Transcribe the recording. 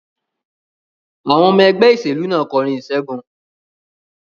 Àwọn ọmọ ẹgbẹ́ ìṣèlú náà kọrin ìṣẹ́gun.